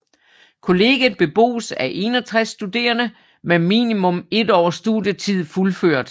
Kollegiet bebos af 61 studerende med minimum 1 års studietid fuldført